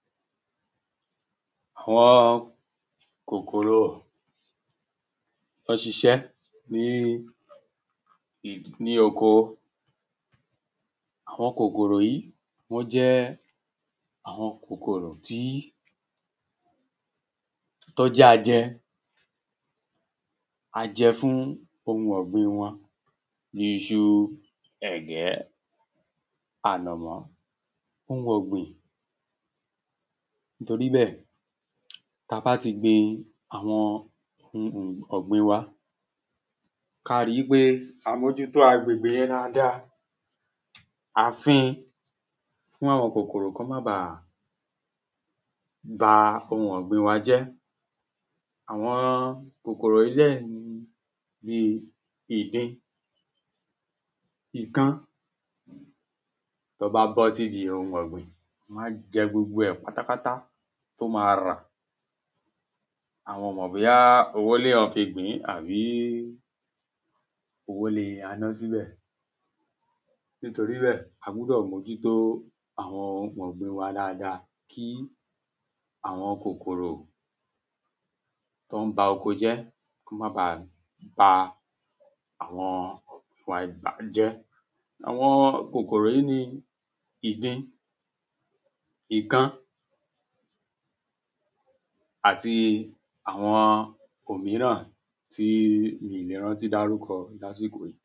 Àwọn kòkòrò tó ń ṣiṣẹ́ ni oko Àwọn kòkòrò yìí wọ́n jẹ́ àwọn kòkòrò tí, tó jẹ́ ajẹ ajẹ fún ohun ọ̀gbin wọn bí i iṣu, ẹ̀gẹ̀, ànàmọ́, ohun ọ̀gbìn Torí bẹ́ẹ̀, táa bá ti gbin àwọn ohun ọ̀gbin wa, káá ri wípé a mójútó gbègbe yẹn dáadáa, à ń fín-in fún àwọn kòkòrò kí wọ́n ma bà ba ohun ọ̀gbin wa jẹ́ Àwọn kòkòrò yìí dẹ̀ ni ni ìdin, ikán, tó bá bọ́ sídi ohun ọ̀gbìn, wọ́n á jẹ gbogbo ẹ̀ pátápátá tó máa rà. Àwọn ò mọ̀ bóyá owó ni èèyàn fi gbìn-ín àbí owó ni a ná síbẹ̀ Nítorí bẹ́ẹ̀, a gbúdọ̀ mójútó àwọn ohun ọ̀gbin wa dáadáa, kí àwọn kòkòrò tó ń ba oko jẹ́, kí wọ́n ma bá ba oko jẹ́, kí wọ́n ma bà ba àwọn ọ̀gbin wa bà á jẹ́ Àwọn kòkòrò yìí ni ìdin, ikán àti àwọn òmíràn tí mi ò le rántí dárúkọ lásìkò yìí